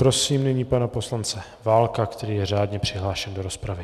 Prosím nyní pana poslance Válka, který je řádně přihlášen do rozpravy.